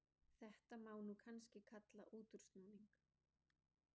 Þetta má kannski kalla útúrsnúning.